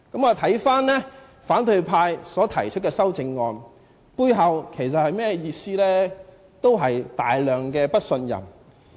看回反對派提出的修正案，背後仍然是極度的不信任。